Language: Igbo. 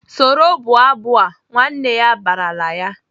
"Soro bụọ abụ a!" Nwanne ya barala ya!